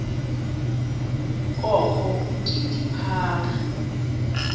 kokho udidi phaka